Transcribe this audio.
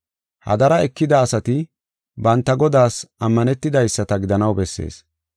Hadara ekida asati banta Godaas ammanetidaysata gidanaw bessees.